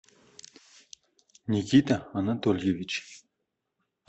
никита анатольевич